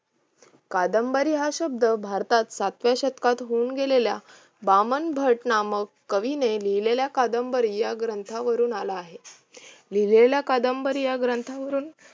कादंबरी हा शब्द भारतात सातव्या शतकात होऊन गेलेल्या, वामनभट नामक कवीने लिहलेल्या कादंबरी या ग्रंथावरून आला आहे. लिहलेल्या कादंबरी या ग्रंथावरून